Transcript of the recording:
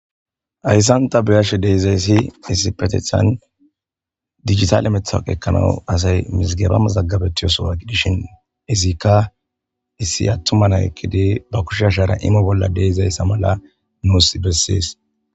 Haysan ta be'ashe de'izaysi issipetetan dijitale matoqe ekanawu asay mizigeba mazigabetiyo sohuwa gidishin izikka issi atuma nay ekkidi ba kushe ashara imo bola de'izaysa mala nus beses.